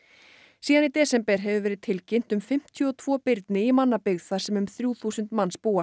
síðan í desember hefur verið tilkynnt um fimmtíu og tvo birni í mannabyggð þar sem um þrjú þúsund manns búa